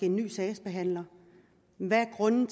en ny sagsbehandler hvad grunden